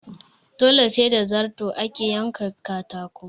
Dole sai da zarto ake yanka katako